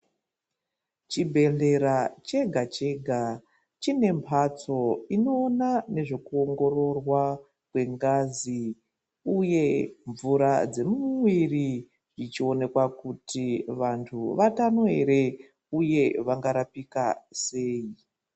Chibhedhlera chega- chega chine mphatso inoona nezvekuongororwa kwengazi, uye mvura dzemumwiiri, dzichionekwa kuti vantu vatano ere, uye vangarapika sei.